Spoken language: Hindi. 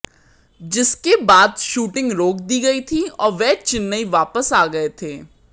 जिसके बाद शूटिंग रोक दी गई थी और वे चेन्नई वापस आ गए थे